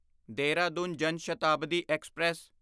ਦੇਹਰਾਦੂਨ ਜਾਨ ਸ਼ਤਾਬਦੀ ਐਕਸਪ੍ਰੈਸ